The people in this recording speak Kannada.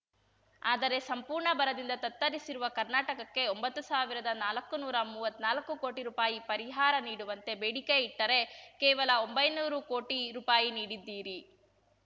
ಆದರೆ ಸಂಪೂರ್ಣ ಬರದಿಂದ ತತ್ತರಿಸಿರುವ ಕರ್ನಾಟಕಕ್ಕೆ ಒಂಬತ್ತು ಸಾವಿರದನಾಲಕ್ಕು ನೂರಾ ಮೂವತ್ನಾಲ್ಕು ಕೋಟಿ ರೂಪಾಯಿ ಪರಿಹಾರ ನೀಡುವಂತೆ ಬೇಡಿಕೆ ಇಟ್ಟರೆ ಕೇವಲ ಒಂಬೈನೂರು ಕೋಟಿ ರೂಪಾಯಿ ನೀಡಿದ್ದೀರಿ